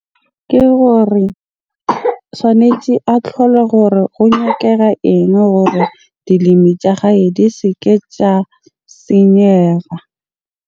Ke hore tjhwanetse a tlhole hore ho nyakega eng hore dilemi tja gage di se ke tja senyeha.